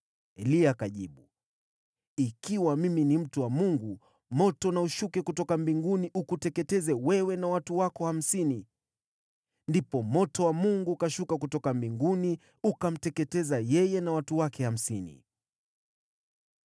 Eliya akajibu, “Ikiwa mimi ni mtu wa Mungu, moto na ushuke kutoka mbinguni ukuteketeze wewe na watu wako hamsini!” Ndipo moto wa Mungu ukashuka kutoka mbinguni, ukamteketeza yeye na watu wake hamsini.